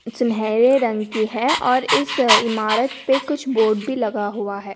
सुनहरे रंग की है और इस इमारत पे कुछ बोर्ड भी लगा हुवा है।